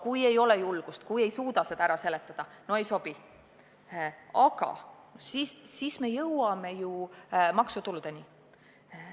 Kui ei ole julgust, kui ei suuda seda ära seletada, kui see ei sobi, siis me jõuame maksutuludeni.